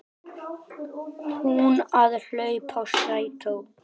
Hún að hlaupa í strætó.